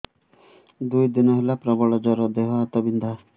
ଦୁଇ ଦିନ ହେଲା ପ୍ରବଳ ଜର ଦେହ ହାତ ବିନ୍ଧା